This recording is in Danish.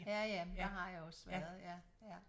Ja ja der har jeg også været ja ja